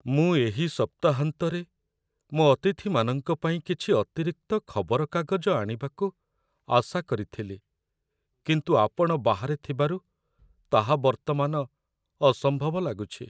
ମୁଁ ଏହି ସପ୍ତାହାନ୍ତରେ ମୋ ଅତିଥିମାନଙ୍କ ପାଇଁ କିଛି ଅତିରିକ୍ତ ଖବରକାଗଜ ଆଣିବାକୁ ଆଶା କରିଥିଲି, କିନ୍ତୁ ଆପଣ ବାହାରେ ଥିବାରୁ ତାହା ବର୍ତ୍ତମାନ ଅସମ୍ଭବ ଲାଗୁଛି